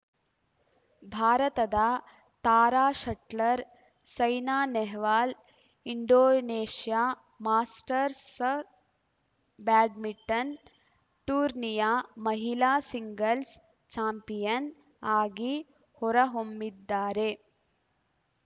ಭಾರತದ ತಾರಾ shuttler Saina Nehwal Indonesia Masters badminton ಟೂರ್ನಿಯ ಮಹಿಳಾ ಸಿಂಗಲ್ಸ್‌ ಚಾಂಪಿಯನ್‌ ಆಗಿ ಹೊರಹೊಮ್ಮಿದ್ದಾರೆ